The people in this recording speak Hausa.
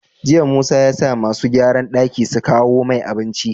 Jiya musa yasa masu gyaran daki su kawo mai abinci